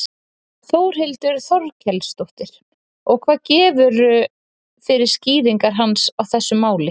Þórhildur Þorkelsdóttir: Og hvað gefurðu fyrir skýringar hans á þessu máli?